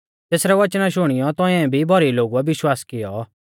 तेसरै वचना शुणियौ तौंइऐ भी भौरी लौगुऐ विश्वास कियौ